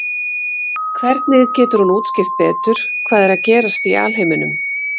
Hvernig getur hún útskýrt betur hvað er að gerast í alheiminum?